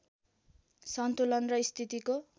सन्तुलन र स्थितिको